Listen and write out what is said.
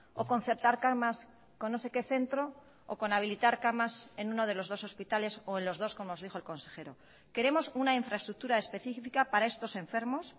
o concertar camas con no sé qué centro o con habilitar camas en uno de los dos hospitales o en los dos como os dijo el consejero queremos una infraestructura específica para estos enfermos